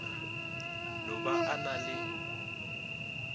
no ba a na le